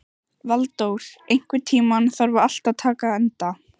Valdór, einhvern tímann þarf allt að taka enda.